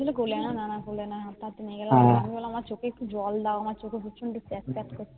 হাটতে হাটতে নিয়ে গেল আমি বললাম আমার চোখে একটু জল দাও আমার চোখ প্যাঁচ প্যাঁচ করছে